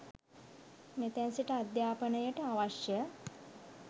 මෙතැන් සිට අධ්‍යාපනයට අවශ්‍ය